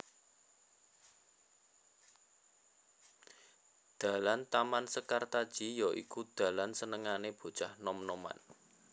Dalan Taman Sekartaji ya iku dalan senengané bocah nom noman